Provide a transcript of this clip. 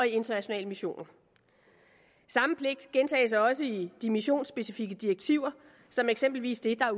internationale missioner samme pligt gentages også i de missionspecifikke direktiver som eksempelvis det der